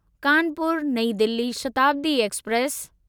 Kanpur Nai Delhi Shatabdi express